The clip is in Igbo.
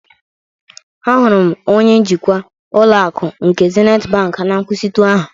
Ahụrụ m onye njikwa ụlọ akụ nke Zenịt bank na nkwụsịtụ ahụ.